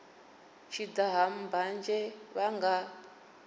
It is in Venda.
tshi daha mbanzhe vha nga